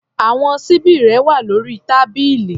Àwọn ṣíbí rẹ wà lórí tábìlì.